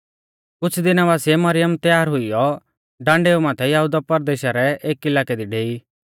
कुछ़ दिना बासिऐ मरियम तैयार हुइयौ डांडैउ माथै यहुदा परदेशा रै एक इलाकै दी डेई